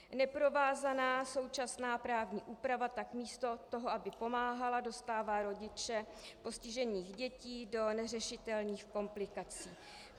Neprovázaná současná právní úprava tak místo toho, aby pomáhala, dostává rodiče postižených dětí do neřešitelných komplikací.